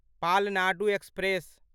Palnadu express